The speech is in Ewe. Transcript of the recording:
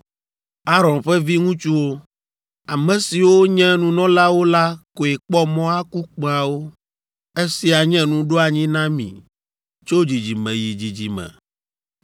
“Aron ƒe viŋutsuwo, ame siwo nye nunɔlawo la koe kpɔ mɔ aku kpẽawo. Esia nye nuɖoanyi na mi tso dzidzime yi dzidzime.